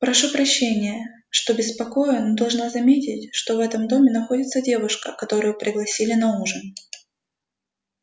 прошу прощения что беспокою но должна заметить что в этом доме находится девушка которую пригласили на ужин